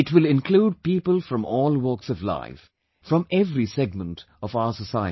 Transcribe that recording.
It will include people from all walks of life, from every segment of our society